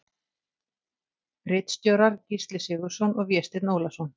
Ritstjórar Gísli Sigurðsson og Vésteinn Ólason.